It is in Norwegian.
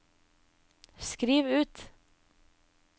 skriv ut